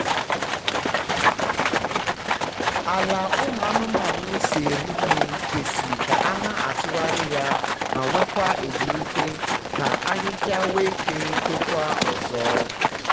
ala ụmụ anụmanụ si eri nri kwesị k’ana atugharị ya ma nwe kwa ezumike ka ahịhịa nwe ike tokwa ọzọ